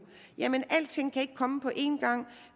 jamen alting kan ikke komme på en gang